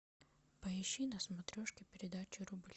поищи на смотрешке передачу рубль